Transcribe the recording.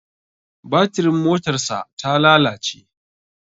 Batirin motarsa ta lalace.